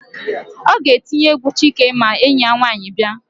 Ọ ga-etinye égwú Chike ma enyi ya nwaanyị bịa.